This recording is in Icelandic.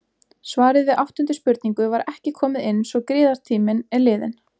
Svarið við áttundu spurningu var ekki komið inn svo griðatíminn er liðinn.